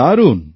দারুণ